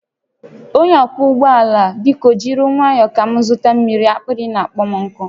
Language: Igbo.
Onye ọkwọ ụgbọ ala biko jiri nwayọ ka m zụta mmiri, akpịrị na-akpọ m nkụ